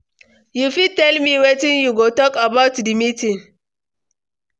You fit tell me wetin you go talk about di meeting?